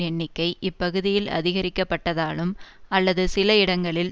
எண்ணிக்கை இப்பகுதியில் அதிகரிக்கப்பட்டதாலும் அல்லது சில இடங்களில்